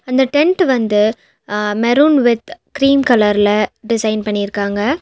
அந்த டெண்டு வந்து அ மெரூன் வித் கிரீம் கலர் ல டிசைன் பண்ணிருக்காங்க.